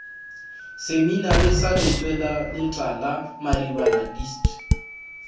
seminari sa lentsweletala maribana dist